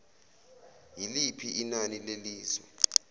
yiliphi inani lezilwane